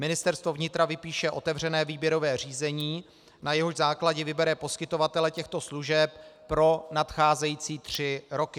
Ministerstvo vnitra vypíše otevřené výběrové řízení, na jehož základě vybere poskytovatele těchto služeb pro nadcházející tři roky.